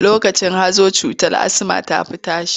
Lokacin hazo cutar asma ta fi tashi.